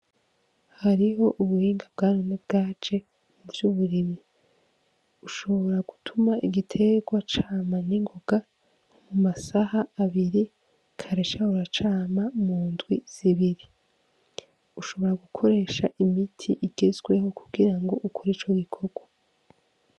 Hariho ubuhinga bwanone bwaje muvy'uburimyi, ushobora gutuma igiterwa cama ningonga mu masaha abiri kare cahora cama mundwi zibiri, ushobora gukoresha imiti igezweho kugira ukore ico gikorwa.